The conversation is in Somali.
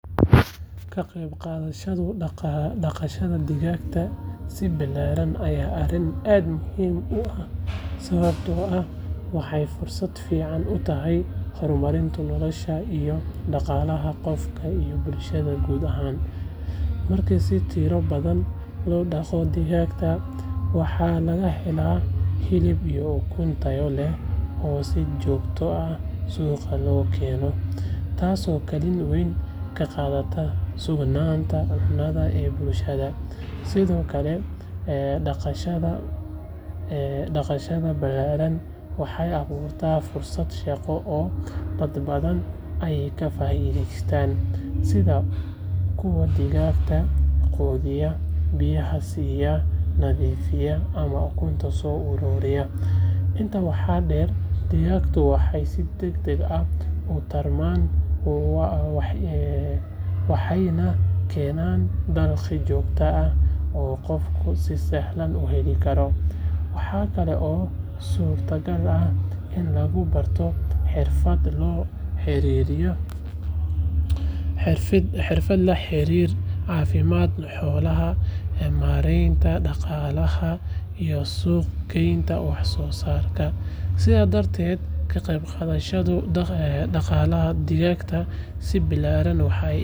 Ka qayb qaadashada dhaqashada digaagga si ballaaran waa arrin aad muhiim u ah sababtoo ah waxay fursad fiican u tahay horumarinta nolosha iyo dhaqaalaha qofka iyo bulshada guud ahaan. Marka si tiro badan loo dhaqo digaagga, waxaa laga helaa hilib iyo ukun tayo leh oo si joogto ah suuqa loogu keeno, taasoo kaalin weyn ka qaadata sugnaanta cunada ee bulshada. Sidoo kale, dhaqashada ballaaran waxay abuurtaa fursado shaqo oo dad badan ay ka faa’iidaystaan sida kuwa digaagga quudiya, biyaha siiya, nadiifiya ama ukunta soo ururiya. Intaa waxaa dheer, digaagtu waxay si degdeg ah u tarmaan waxayna keenaan dakhli joogto ah oo qofku si sahlan ku heli karo. Waxaa kale oo suurtagal ah in lagu barto xirfado la xiriira caafimaadka xoolaha, maaraynta dhaqaalaha iyo suuq gaynta wax soo saarka. Sidaas darteed, ka qayb qaadashada dhaqashada digaagga si ballaaran waxay iga caawisaa.